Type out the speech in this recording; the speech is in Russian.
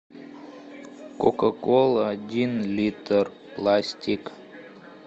кока кола один литр пластик